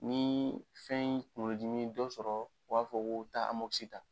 Ni fɛn kunkolodimi ye dɔ sɔrɔ u b'a fɔ k'u taa ta.